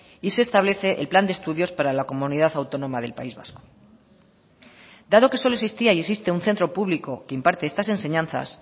y se establece el plan de estudios para la comunidad autónoma del país vasco dado que solo existía y existe un centro público que imparte estas enseñanzas